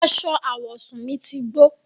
Àṣọ awọsún mi ti gbọ̀.